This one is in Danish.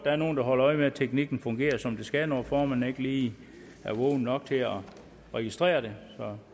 er nogle der holder øje med at teknikken fungerer som den skal når formanden ikke lige er vågen nok til at registrere det så